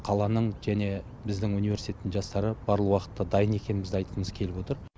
қаланың және біздің университеттің жастары барлық уақытта дайын екенімізді айтқымыз келіп отыр